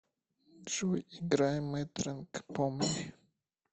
джой играй матранг помни